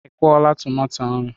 Ị kwụọla tomato ahụ?